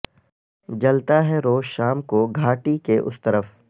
جلتا ہے روز شام کو گھاٹی کے اس طرف